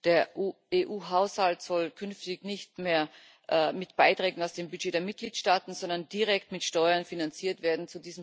Der EU Haushalt soll künftig nicht mehr mit Beiträgen aus dem Budget der Mitgliedstaaten sondern direkt mit Steuern finanziert werden.